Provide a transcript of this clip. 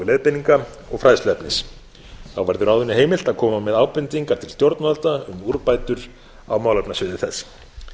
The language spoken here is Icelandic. leiðbeininga og fræðsluefnis þá verður ráðinu heimilt að koma með ábendingar til stjórnvalda um úrbætur á málefnasviði þess